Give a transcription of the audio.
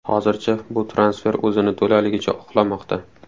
Hozircha bu transfer o‘zini to‘laligicha oqlamoqda.